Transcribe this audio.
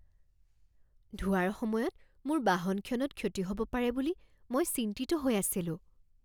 ধোৱাৰ সময়ত মোৰ বাহনখনত ক্ষতি হ'ব পাৰে বুলি মই চিন্তিত হৈ আছিলোঁ।